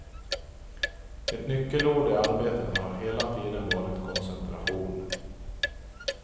Ett nyckelord i arbetet har hela tiden varit koncentration.